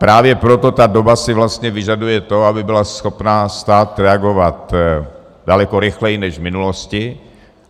Právě proto ta doba si vlastně vyžaduje to, aby byl schopen stát reagovat daleko rychleji než v minulosti.